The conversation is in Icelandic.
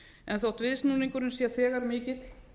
en þótt viðsnúningurinn sé þegar mikill